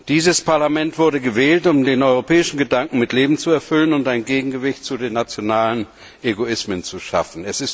Dieses Parlament wurde gewählt, um den europäischen Gedanken mit Leben zu erfüllen und ein Gegengewicht zu den nationalen Egoismen zu schaffen.